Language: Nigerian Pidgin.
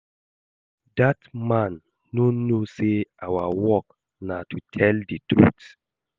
Dat man no know say our work na to tell the truth